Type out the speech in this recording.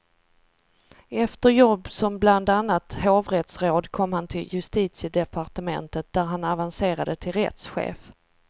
Efter jobb som bland annat hovrättsråd kom han till justitiedepartementet, där han avancerade till rättschef.